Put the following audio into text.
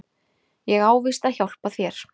Ég á víst að hjálpa þér.